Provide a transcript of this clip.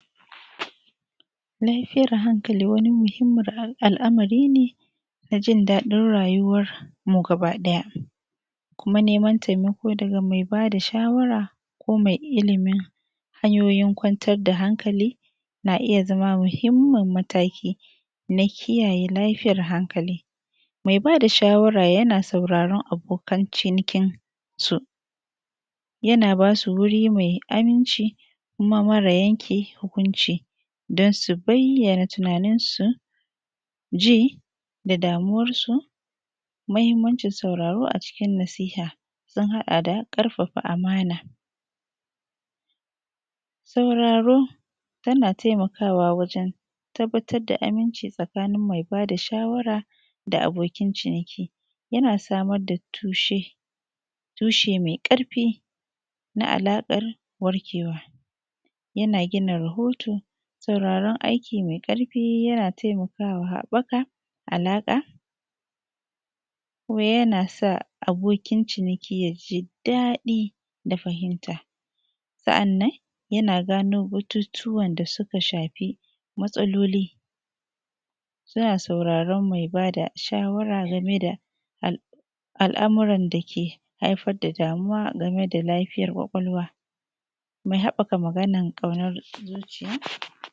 lafiyan hankali wani muhimmin al’amari ne na jin daɗin rayuwarmu gaba ɗaya kuma neman taimako daga mai ba da shawara ko mai ilimin hanyoyin kwantar da hankali na iya zama muhimmin mataki na kiyaye lafiyar hankali mai ba da shawara yana sauraron abokin cinkinsu yana ba su wuri mai aminci kuma mara yanke hukunci don su bayyan tunaninsu ji da damuwarsu muhimmani sauraro a cikin nasiha sun haɗa da karfafa amana sauraron yana taimakawa wajen tabbatar da aminci tsakanin mai ba da shawara da abokin ciniki yana samar da tushe tushe mai ƙarfi na alaƙan warkewa yana gina rahoto sauraron aiki mai ƙarfi yana taimakawa wata alaƙa yana sa abokin ciniki yaji daɗi da fahimta sa’annan yana gano batutuwan da su ka shafi matsaloli ya sauraron mai bada shawara game da al’amuran da ke haifar da damuwa game da lafiyar kwakwalwa mai haɓaka maganar ƙaunar zuciya